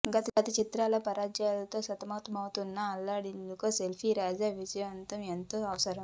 గత చిత్రాల పరాజయాలతో సతమతమవుత్ను అల్లరోడికి సెల్ఫీరాజా విజయం ఎంతో అవసరం